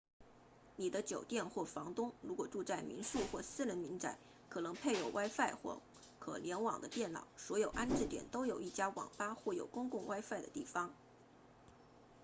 你的酒店或房东如果住在民宿或私人民宅可能配有 wifi 或可联网的电脑所有安置点都有一家网吧或有公共 wifi 的地方